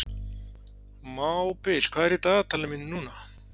Mábil, hvað er í dagatalinu mínu í dag?